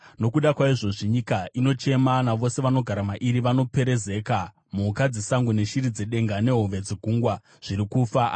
Nokuda kwaizvozvi nyika inochema, navose vanogara mairi vanoperezeka. Mhuka dzesango neshiri dzedenga nehove dzegungwa zviri kufa.